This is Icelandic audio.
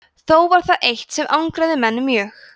þó var það eitt sem angraði menn mjög